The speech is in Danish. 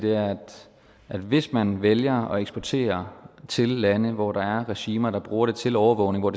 at hvis man vælger at eksportere til lande hvor der er regimer der bruger det til overvågning og